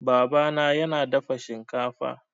Baba na yana dafa shinkafa